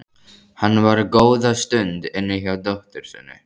Hann var góða stund inni hjá dóttur sinni.